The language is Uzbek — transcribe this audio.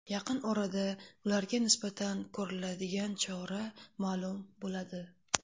Yaqin orada ularga nisbatan ko‘riladigan chora ma’lum bo‘ladi.